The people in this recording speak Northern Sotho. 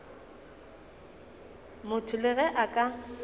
motho le ge a ka